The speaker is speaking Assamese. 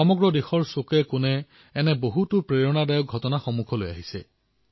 সমগ্ৰ দেশৰ কোণেকোণে এনে অনেক প্ৰেৰণাদায়ী ঘটনা পোহৰলৈ আহিয়েই আছে